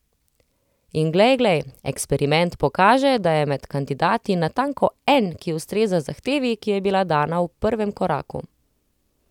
In glej, glej, eksperiment pokaže, da je med kandidati natanko en, ki ustreza zahtevi, ki je bila dana v prvem koraku.